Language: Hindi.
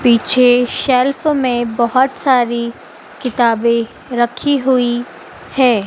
पीछे शेल्फ में बहोत सारी किताबें रखी हुई है।